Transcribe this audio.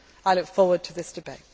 I look forward to this debate.